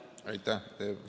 Aitäh!